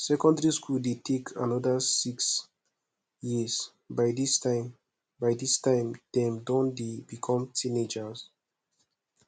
secondary school de take another six years by dis time by dis time dem don de become teenagers